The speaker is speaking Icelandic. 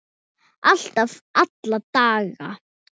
Alltaf, alla daga.